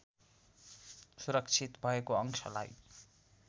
सुरक्षित भएको अंशलाई